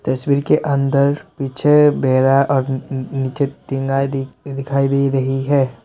तस्वीर के अंदर पीछे नीचे दिखाई दे रही है।